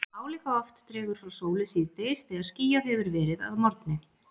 Álíka oft dregur frá sólu síðdegis þegar skýjað hefur verið að morgni.